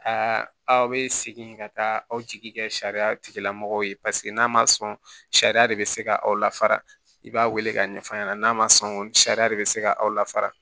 Aa aw bɛ segin ka taa aw jigi kɛ sariya tigilamɔgɔw ye n'a ma sɔn sariya de bɛ se ka aw lafara i b'a wele k'a ɲɛfɔ aw ɲɛna n'a ma sɔn sariya de bɛ se ka aw lafara